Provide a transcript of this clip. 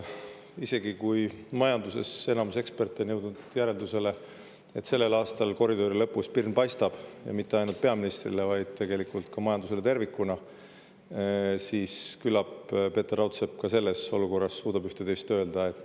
Isegi kui enamus majanduseksperte on jõudnud järeldusele, et sellel aastal koridori lõpus pirn paistab ja mitte ainult peaministrile, vaid tegelikult ka majandusele tervikuna, siis küllap Peeter Raudsepp ka selles olukorras suudab ühte ja teist öelda.